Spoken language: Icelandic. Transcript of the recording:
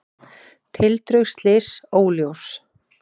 Tildrög slyss óljós